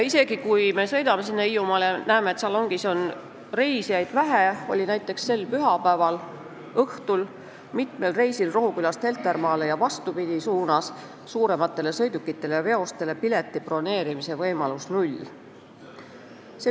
Isegi kui me Hiiumaale sõites näeme, et salongis tundub olema reisijaid vähe, siis näiteks selle pühapäeva õhtul oli mitmel reisil Rohukülast Heltermaale ja vastupidi suurematele sõidukitele-veostele pileti broneerimise võimalus olematu.